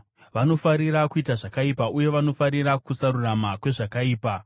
vanofarira kuita zvakaipa uye vanofarira kusarurama kwezvakaipa,